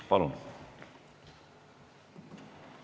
Palun!